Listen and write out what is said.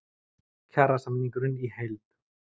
Kjarasamningurinn í heild